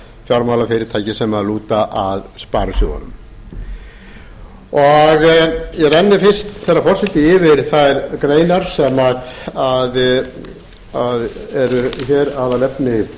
fjármálafyrirtæki sem lúta að sparisjóðunum ég renni fyrst herra forseti yfir þær greinar sem eru hér aðalefni